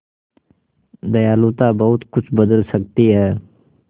दयालुता बहुत कुछ बदल सकती है